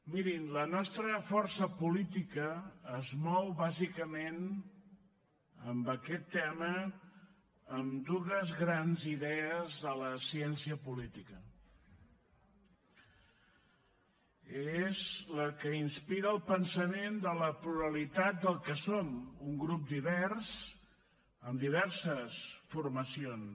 mirin la nostra força política es mou bàsicament en aquest tema amb dues grans idees de la ciència política és la que inspira el pensament de la pluralitat del que som un grup divers amb diverses formacions